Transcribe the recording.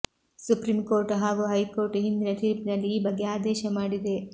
supreme court ಹಾಗೂ high court ಹಿಂದಿನ ತೀರ್ಪಿನಲ್ಲಿ ಈ ಬಗ್ಗೆ ಆದೇಶ ಮಾಡಿದೆ